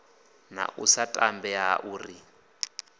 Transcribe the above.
na u sa tambea ri